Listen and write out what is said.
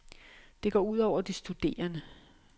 Det går ud over de studerende.